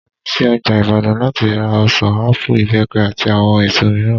Mo lo sí ọjà Ìbàdàn láti ra ọ̀sàn, ápù, ìbẹ́pẹ, àti àwọn èso mìíràn